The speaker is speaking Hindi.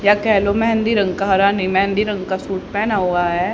या कह लो मेहंदी रंग का हरा नही मेहंदी रंग का सूट पहना हुआ है।